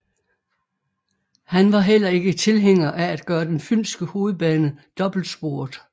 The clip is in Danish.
Han var heller ikke tilhænger af at gøre den fynske hovedbane dobbeltsporet